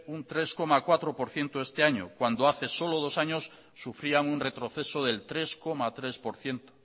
un tres coma cuatro por ciento este año cuando hace solo dos años sufrían un retroceso del tres coma tres por ciento